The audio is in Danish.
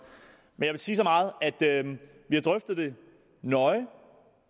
men sige så meget at vi har drøftet det nøje